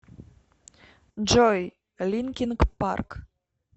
джой линкин парк